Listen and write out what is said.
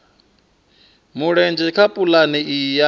mulenzhe kha pulane iyi ya